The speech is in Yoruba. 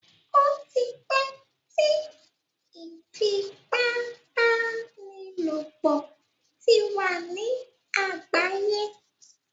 Ó ti pẹ́ tí ìfipábánilòpọ̀ ti wà ní àgbáyé.